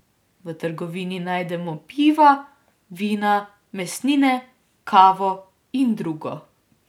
V trgovini najdemo piva, vina, mesnine, kavo in drugo.